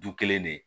Du kelen de